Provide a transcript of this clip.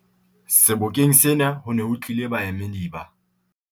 Sebokeng sena ho ne ho tlile baemedi ba